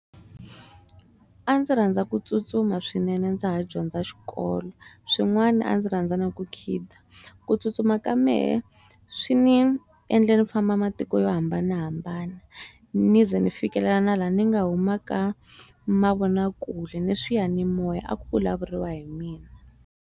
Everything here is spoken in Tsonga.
A ndzi rhandza ku tsutsuma swinene ndza ha dyondza xikolo swin'wana a ndzi rhandza na ku khida ku tsutsuma ka mehe swi ni endle ni famba matiko yo hambanahambana ni ze ni fikelela na laha ni nga humaka mavonakule ni swiyanimoya a ku vulavuriwa hi mina.